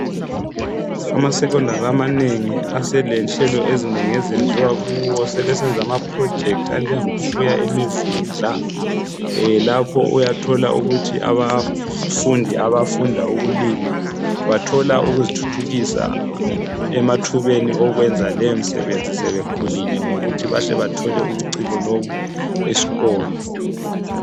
AmaSecondary amanengi aselenhlelo ezinengi ezenziwa kuwo sebesenza ama project anjengokufuya imivundla. Lapho uyathola ukuthi abafundi abafunda ukulima bathola ukuzithuthukisa emathubeni okwenza le misebenzi sebekhulile ngokuthi bahle bathole ubuciko lobu esikolo.